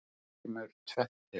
Hér kemur tvennt til.